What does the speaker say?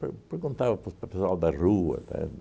Per perguntava para o pessoal da rua, entende?